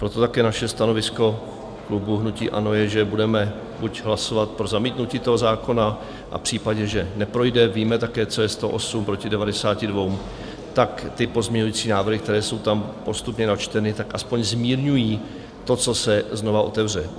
Proto také naše stanovisko klubu hnutí ANO je, že budeme buď hlasovat pro zamítnutí toho zákona, a v případě, že neprojde - víme také, co je 108 proti 92 - tak ty pozměňovací návrhy, které jsou tam postupně načteny, tak aspoň zmírňují to, co se znova otevře.